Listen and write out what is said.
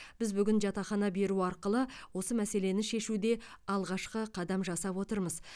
біз бүгін жатақхана беру арқылы осы мәселені шешуде алғашқы қадам жасап отырмыз